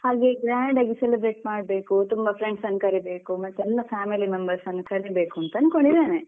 ಹಾಗೆ grand ಆಗಿ celebrate ಮಾಡ್ಬೇಕು ತುಂಬಾ friends ಅನ್ನು ಕರಿಬೇಕು ಮತ್ತೆ ಎಲ್ಲ family members ಅನ್ನು ಕರಿಬೇಕು ಅಂತ ಅನ್ಕೊಂಡಿದ್ದೇನೆ.